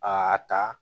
Aa ta